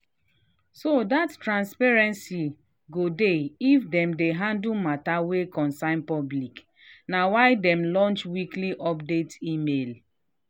so that transparency go dey if them dey handle matter wa concern public na why dem launch weekly update email